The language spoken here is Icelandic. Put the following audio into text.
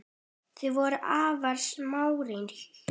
Þau voru afar samrýnd hjón.